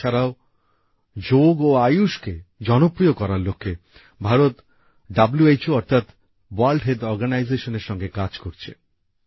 এ ছাড়াও যোগ এবং আয়ুশকে জনপ্রিয় করার লক্ষ্যে ভারত হু অর্থাৎ বিশ্ব স্বাস্থ্য সংস্থার সঙ্গে কাজ করছে